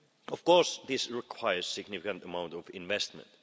Of course this requires a significant amount of investment.